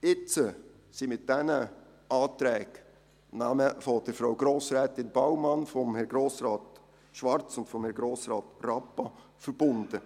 Jetzt sind mit diesen Anträgen die Namen der Frau Grossrätin Baumann, von Herrn Grossrat Schwarz und Herrn Grossrat Rappa verbunden.